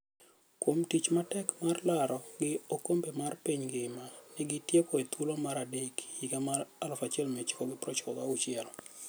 Kuom tich matek mar larogi okombe mar piny ngima negi tieko e thuolo mar adek higa mar 1996.